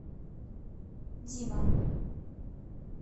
дима